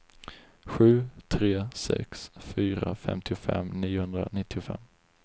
sju tre sex fyra femtiofem niohundranittiofem